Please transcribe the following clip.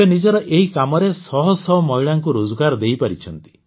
ସେ ନିଜର ଏହି କାମରେ ଶହଶହ ମହିଳାଙ୍କୁ ରୋଜଗାର ଦେଇପାରିଛନ୍ତି